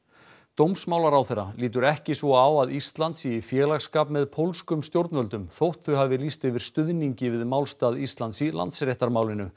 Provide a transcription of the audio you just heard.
dómsmálaráðherra lítur ekki svo á að Ísland sé í félagsskap með pólskum stjórnvöldum þótt þau hafi lýst yfir stuðningi við málstað Íslands í Landsréttarmálinu